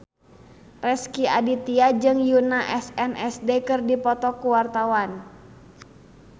Rezky Aditya jeung Yoona SNSD keur dipoto ku wartawan